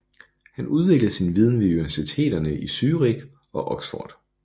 Han udvidede sin viden ved universiteterne i Zürich og Oxford